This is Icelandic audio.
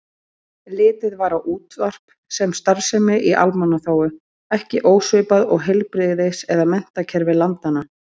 Litið var á útvarp sem starfsemi í almannaþágu, ekki ósvipað og heilbrigðis- eða menntakerfi landanna.